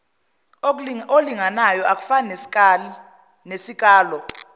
olinganayo akufani nesikalo